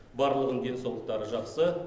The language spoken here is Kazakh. барлығының денсаулықтары жақсы